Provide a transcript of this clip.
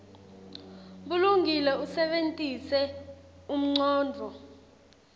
bulungile usebentise umcondvo